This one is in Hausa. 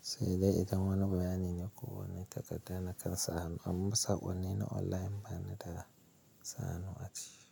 sai dai idan wani bayani ne kuwa ne ka ga da na kan sahanu amma saƙon ni na online bane da sahanu a ci.